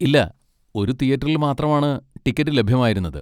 ഇല്ല, ഒരു തിയേറ്ററിൽ മാത്രമാണ് ടിക്കറ്റ് ലഭ്യമായിരുന്നത്.